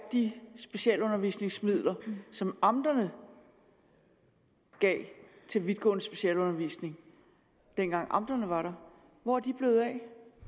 de specialundervisningsmidler som amterne gav til vidtgående specialundervisning dengang amterne var der hvor er de blevet af